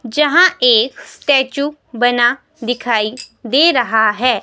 जहां एक स्टैचू बना दिखाई दे रहा है.